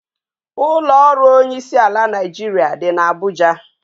Ụlọ ọrụ onyeisiala Naịjirịa dị n'Abuja.